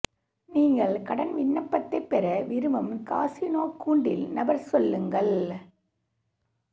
நீங்கள் கடன் விண்ணப்பத்தை பெற விரும்பும் காசினோ கூண்டில் நபர் சொல்லுங்கள்